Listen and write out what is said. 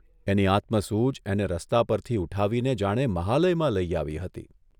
એની આત્મસૂઝ એને રસ્તા પરથી ઊઠાવીને જાણે મહાલયમાં લઇ આવી હતી.